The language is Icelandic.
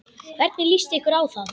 Hvernig líst ykkur á það?